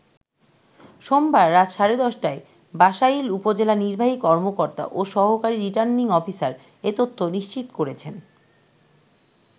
সোমবার রাত সাড়ে ১০টায় বাসাইল উপজেলা নির্বাহী কর্মকর্তা ও সহকারী রিটার্নিং অফিসার এ তথ্য নিশ্চিত করেছেন।